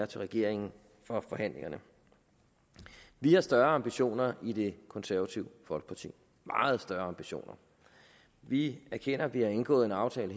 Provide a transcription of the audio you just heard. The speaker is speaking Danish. til regeringen for forhandlingerne vi har større ambitioner i det konservative folkeparti meget større ambitioner vi erkender at vi her har indgået en aftale